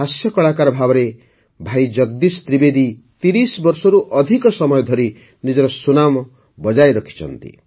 ହାସ୍ୟ କଳାକାର ଭାବରେ ଭାଇ ଜଗଦୀଶ ତ୍ରିବେଦୀ ତିରିଶ ବର୍ଷରୁ ଅଧିକ ସମୟ ଧରି ନିଜର ସୁନାମ ବଜାୟ ରଖିଛନ୍ତି